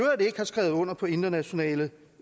har skrevet under på internationale